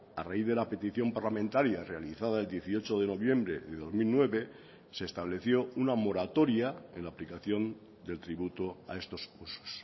a raíz de la petición parlamentaria realizada el dieciocho de noviembre de dos mil nueve se estableció una moratoria en la aplicación del tributo a estos cursos